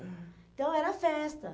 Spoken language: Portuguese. Então, era festa.